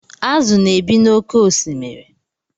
Azụ na-ebi n'oké osimiri.